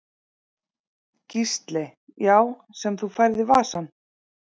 Gísli: Já sem þú færð í vasann?